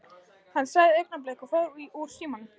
Hann sagði augnablik og fór úr símanum.